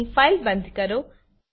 અહીં ફાઈલ બંધ કરો